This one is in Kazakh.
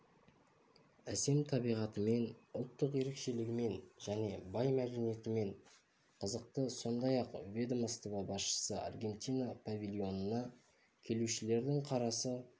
әсем табиғатымен ұлттық ерекшелігімен және бай мәдениетімен қызықты сондай-ақ ведомство басшысы аргентина павильонына келушілердің қарасы